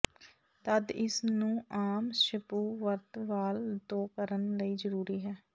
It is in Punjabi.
ਤਦ ਇਸ ਨੂੰ ਆਮ ਸ਼ਪੂ ਵਰਤ ਵਾਲ ਧੋ ਕਰਨ ਲਈ ਜ਼ਰੂਰੀ ਹੈ